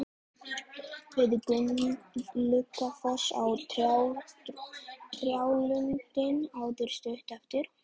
Við Gluggafoss og trjálundinn áttu stutt eftir.